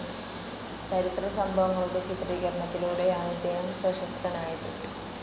ചരിത്രസംഭവങ്ങളുടെ ചിത്രീകരണത്തിലൂടെയാണ് ഇദ്ദേഹം പ്രശസ്തനായത്.